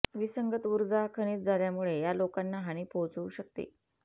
विसंगत ऊर्जा खनिज झाल्यामुळे या लोकांना हानी पोहोचवू शकते